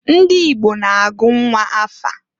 Ndị Igbo na-agụ nnwa afa.